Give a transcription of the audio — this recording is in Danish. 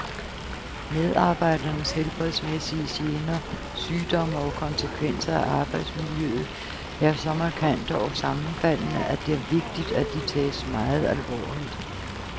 Medarbejdernes helbredsmæssige gener, sygdomme og konsekvenser af arbejdsmiljøet er så markante og sammenfaldende, at det er vigtigt, at de tages meget alvorligt.